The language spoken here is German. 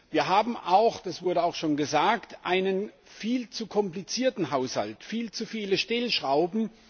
Wir haben auch das wurde auch schon gesagt einen viel zu komplizierten Haushalt, viel zu viele Stellschrauben.